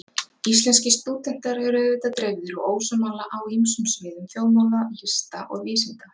Íslenskir stúdentar eru auðvitað dreifðir og ósammála á ýmsum sviðum þjóðmála, lista og vísinda.